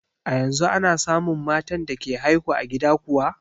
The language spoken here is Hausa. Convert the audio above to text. A yanzu ana samun matan da ke haihu a gida kuwa?